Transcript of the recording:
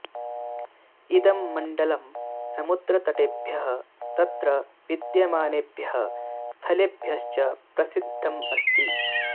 इदं मण्डलं समुद्रतटेभ्यः तत्र विद्यमानेभ्यः स्थलेभ्यश्च प्रसिद्धम् अस्ति